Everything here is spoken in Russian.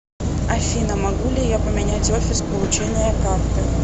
афина могу ли я поменять офис получения карты